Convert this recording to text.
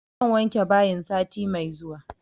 Zan wanke bayin sati mai zuwa